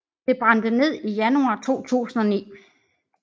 Det brændte ned i januar 2009